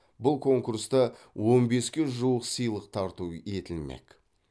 бұл конкурста он беске жуық сыйлық тарту етілмек